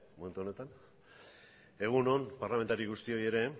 momentu honetan egun on parlamentari guztioi ere